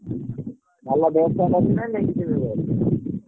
ଭଲ ବ୍ୟବସ୍ତା କରିଛୁ ନା ନେଇକି ଯିବ।